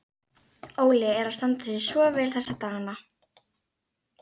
Óli er að standa sig svo vel þessa dagana.